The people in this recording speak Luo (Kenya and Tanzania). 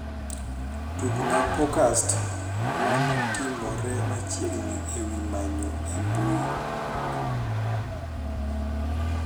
tugnapokast maneotimore machiegni ewi manyo e mbuyi